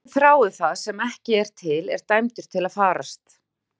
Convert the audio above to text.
Sá sem þráir það sem ekki er til er dæmdur til að farast.